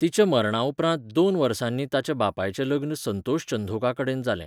तिच्या मरणाउपरांत दोन वर्सांनी ताच्या बापायचें लग्न संतोष चंधोकाकडेन जालें.